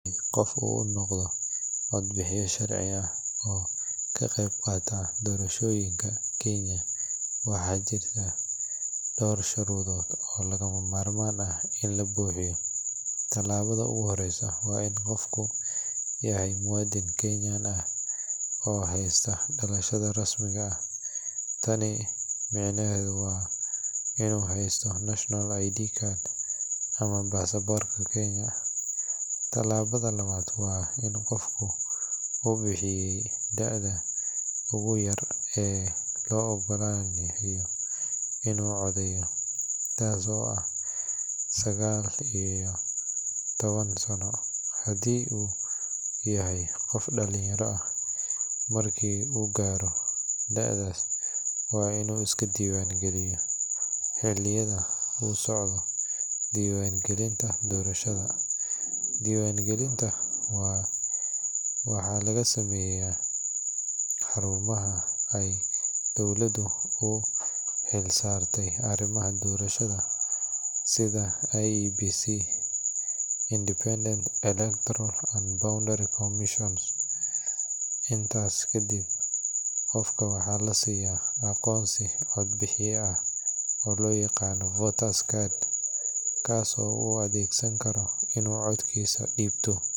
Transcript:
Qof inuu noqdo cod bixiya, waxaa jirta sharuudo, mid u horeyso waa inuu yahay muwadin, waa inuu haysto aqoonsi, inuu buxiye daada Sagal iyo taban Sano, waa inuu is diiban galiyo, diban galinta waxaa laga sameeya xarumaha dowlada, intaas kadib waxaa lasiiya aqoonsi cod bixiya ah.